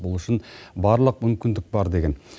бұл үшін барлық мүмкіндік бар деген